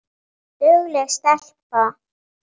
Dugleg stelpa